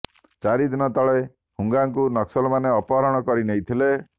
ଚାରି ଦିନ ତଳେ ହୁଙ୍ଗାଙ୍କୁ ନକ୍ସଲମାନେ ଅପହରଣ କରି ନେଇଥିଲେ